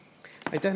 Aitäh!